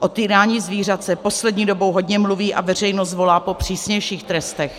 O týrání zvířat se poslední dobou hodně mluví a veřejnost volá po přísnějších trestech.